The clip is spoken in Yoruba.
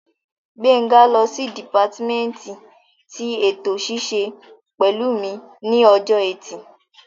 Gbénga lọ sí dìpátímẹ́ǹtì tí ètò ṣíṣe pẹ̀lú mi ní ọjọ́ ẹtì